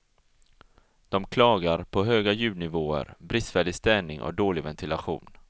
De klagar på höga ljudnivåer, bristfällig städning och dålig ventilation.